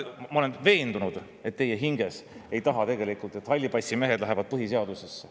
Ma olen veendunud, et te hinges ei taha tegelikult, et hallipassimehed põhiseadusesse.